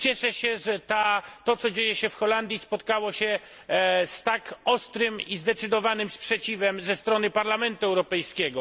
Cieszę się, że to, co dzieje się w Holandii, spotkało się z tak ostrym i zdecydowanym sprzeciwem ze strony Parlamentu Europejskiego.